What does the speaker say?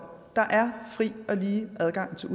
lige adgang til